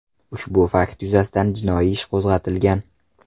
Ushbu fakt yuzasidan jinoiy ish qo‘zg‘atilgan.